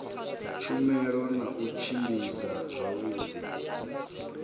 tshumelo na u tshimbidza zwavhudi